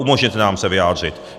Umožněte nám se vyjádřit.